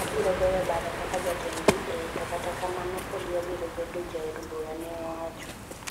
"Abiro goyo bada kaka jatend DA…to kata kamano pod abiro bedo jaod bura,"neowacho.